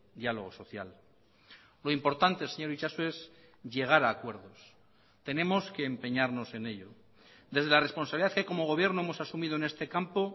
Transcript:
diálogo social lo importante señor itxaso es llegar a acuerdos tenemos que empeñarnos en ello desde la responsabilidad que como gobierno hemos asumido en este campo